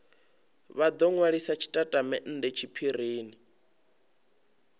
vha do nwalisa tshitatamennde tshiphirini